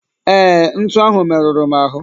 Ee, ntu ahụ meruru m ahụ.